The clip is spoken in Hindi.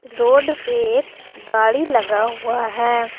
रोड पे एक गाड़ी लगा हुआ है।